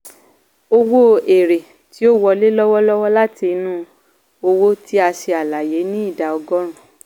owó èèrè tí ó wọlé lọ́wọ́lọ́wọ́ láti inú òwò tí a ṣe àlàyé ní ìdá ọgọ́rùn.